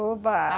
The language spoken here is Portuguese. Oba!